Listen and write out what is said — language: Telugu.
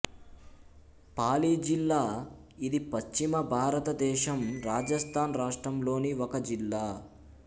పాలి జిల్లా ఇది పశ్చిమ భారతదేశం రాజస్థాన్ రాష్ట్రంలోని ఒక జిల్లా